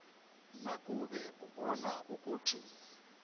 nakube ubona ukuthi